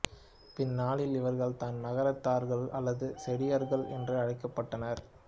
பின் நாளில் இவர்கள் தான் நகரத்தார்கள் அல்லது செட்டியார்கள் என்று அழைக்கப்பட்டனர்